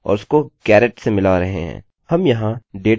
जन्मतिथि से लेकर gender मेरी id से मेरा firstname और lastname तक